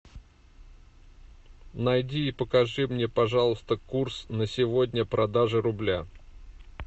найди и покажи мне пожалуйста курс на сегодня продажи рубля